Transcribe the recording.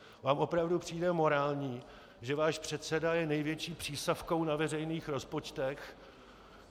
Vám opravdu přijde morální, že váš předseda je největší přísavkou na veřejných rozpočtech?